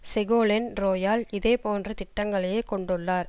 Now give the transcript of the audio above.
Segolene Royal இதே போன்ற திட்டங்களையே கொண்டுள்ளார்